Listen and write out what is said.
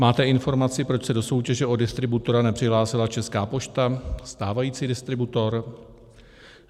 Máte informaci, proč se do soutěže o distributora nepřihlásila Česká pošta, stávající distributor?